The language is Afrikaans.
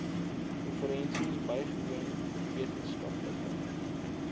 konferensies bygewoon wetenskaplike